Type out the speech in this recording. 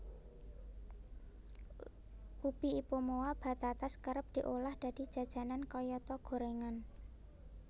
Ubi Ipomoea batatas kerep diolah dadi jajanan kayata goréngan